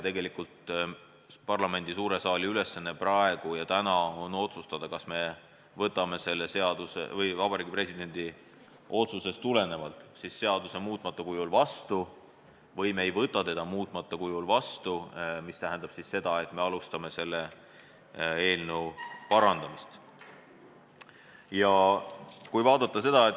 Parlamendi suure saali ülesanne praegu on otsustada, kas me võtame selle seaduse vaatamata Vabariigi Presidendi otsusele muutmata kujul vastu või me ei võta seda muutmata kujul vastu, mis tähendab seda, et me alustame selle parandamist.